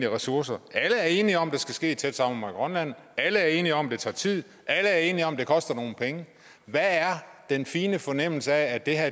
ressourcer alle er enige om at det skal ske i tæt samarbejde med alle er enige om at det tager tid alle er enige om at det koster nogle penge hvad er den fine fornemmelse af at det her